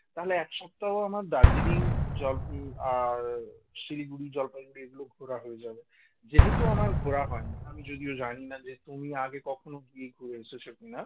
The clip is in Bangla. তাহলে এক সপ্তাহ আমার দার্জিলিং জল আর শিলিগুড়ি জলপাইগুড়ি এগুলো ঘোড়া হয়ে যাবে। যেহেতু আমার ঘোড়া হয়নি আমি যদিও জানি না যে তুমি আগে কখনো ঘুরে এসেছে কিনা